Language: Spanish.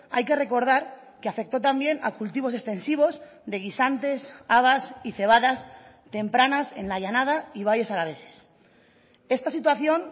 hay que recordar que afectó también a cultivos extensivos de guisantes habas y cebadas tempranas en la llanada y valles alaveses esta situación